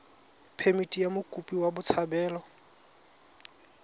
phemithi ya mokopi wa botshabelo